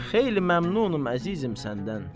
Xeyli məmnunam əzizim səndən.